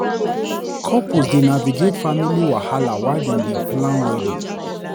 Couples dey navigate family wahala while dem dey plan wedding.